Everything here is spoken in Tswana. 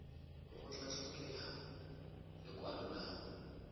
go tla tlhokega lekwalo la